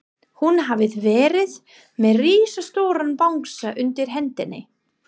Hún hafði verið með risastóran bangsa undir hendinni.